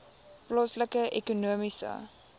plaaslike ekonomiese